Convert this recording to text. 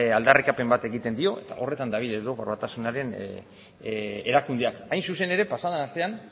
aldarrikapen bat egiten dio eta horretan dabil europar batasunaren erakundeak hain zuzen ere pasa den astean